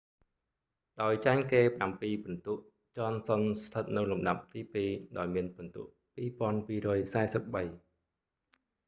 ដោយចាញ់គេប្រាំពីរពិន្ទុ ចនសុនស្ថិតនៅលំដាប់ទីពីរ ដោយមានពិន្ទុ 2,243